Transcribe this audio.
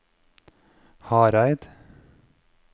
Hareid